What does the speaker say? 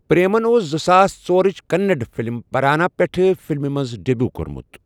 پریمَن اوس زٕساس ژۄرٕچ کنڑ فِلم پرانا پٮ۪ٹھٕ فِلمہِ منٛز ڈیبیو کوٚرمُت۔